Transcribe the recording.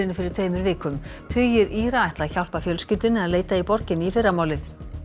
fyrir tveimur vikum tugir Íra ætla að hjálpa fjölskyldunni að leita í borginni í fyrramálið